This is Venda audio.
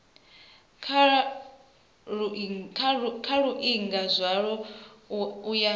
kha luingo zwalo u ya